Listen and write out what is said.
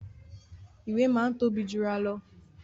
Ìwé máa ń tóbi jura lọ